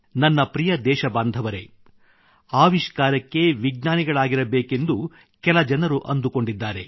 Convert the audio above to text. ನನ್ನ ಪ್ರಿಯ ದೇಶಬಾಂಧವರೆ ಆವಿಷ್ಕಾರಕ್ಕೆ ವಿಜ್ಞಾನಿಗಳಾಗಿರಬೇಕೆಂದು ಕೆಲ ಜನರು ಅಂದುಕೊಂಡಿದ್ದಾರೆ